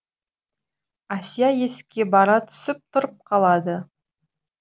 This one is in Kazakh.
әсия есікке бара түсіп тұрып қалады